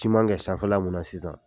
Ciman kɛ sanfɛ la mun na sisan.